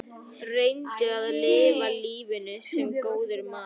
Reyndu að lifa lífinu- sem góður maður.